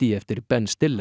eftir Ben